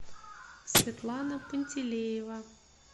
светлана пантелеева